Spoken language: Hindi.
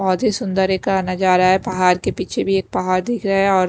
बहोत ही सुन्दर एक कहना जा रहा है। पहाड़ के पीछे भी एक पहाड़ दिख रहा है और --